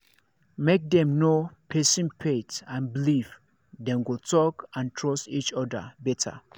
make dem know person faith and believe dem go talk and trust each other better